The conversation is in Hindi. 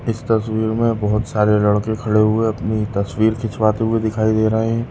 इस तस्वीर में बहुत सारे लड़के खड़े हुए अपनी तस्वीर खिचवाते हुए दिखाई दे रहे है।